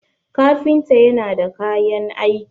kafinta yana da kayan aiki